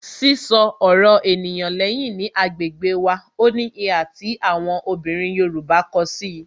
Sísọ ọ̀rọ̀ ènìyàn lẹ́yìn ni agbègbè wá, ó ní ìhà tí àwọn obìnrin Yorùbá ko si i